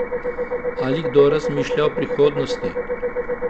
Ali kdo razmišlja o prihodnosti?